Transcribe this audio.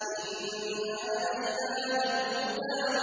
إِنَّ عَلَيْنَا لَلْهُدَىٰ